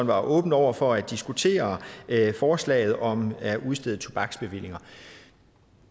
var åben over for at diskutere forslaget om at udstede tobaksbevillinger